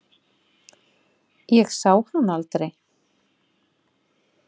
Ég sá hann aldrei.